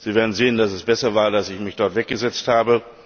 Sie werden sehen, dass es besser war, dass ich mich dort weggesetzt habe.